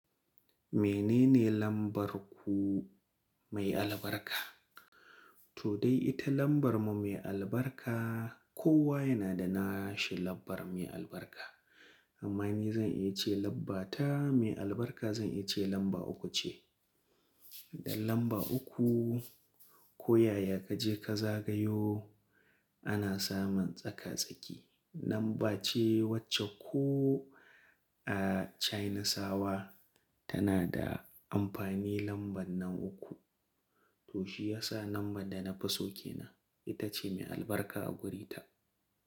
Menene lambar ku mai albarka? To dai ita lambar mu mai albarka kowa yana da na shi lambar mai albarka. Amma ni zan iya ce lambata mai albarka zan iya ce lamba uku ce. Da lamba uku koyaya kaje ka zagayo ana samun tsaka-tsaki. Lamba ce wacce ko a Chainasawa tana da amfani lambar nan uku. To shi yasa lambar da na fi so ke nan ita ce mai albarka a wurita.